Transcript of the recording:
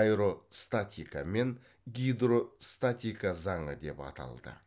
аэростатика мен гидростатика заңы деп аталды